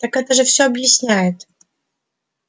так это же все объясняет